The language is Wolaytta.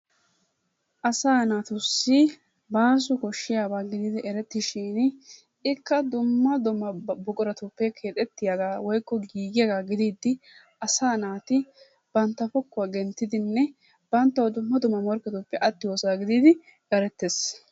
Asaa naatussi bàaso koshshiyaba gididi erettishin ikka dumma dumma buquratuppe keexettiyagaa woykko giigiyagaa gidiiddi Asaa naati bantta pokkuwa genttidinne banttawu dumma dumma morkketuppe attiyosaa gididi erettes.